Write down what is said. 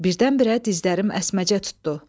Birdən-birə dizlərim əsməcə tutdu.